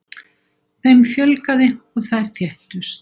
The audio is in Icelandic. Þeim fjölgaði og þær þéttust.